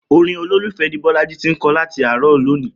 Orin olólùfẹ́ ni Bọ́lájí ti ń kọ láti àárọ̀ lónìí